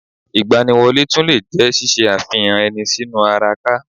Ìgbaniwọlé tún lè jẹ́ ṣíṣe àfihàn ẹni sínú ara ka